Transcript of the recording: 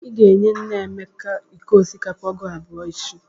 Ị ga-enye nne Emeka iko osikapa ọgụ abụọ echi!